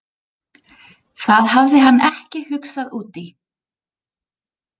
Það hafði hann ekki hugsað út í.